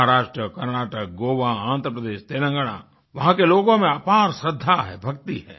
महाराष्ट्र कर्नाटक गोवा आन्ध्र प्रदेश तेलंगाना वहाँ के लोगों में अपार श्रद्धा है भक्ति है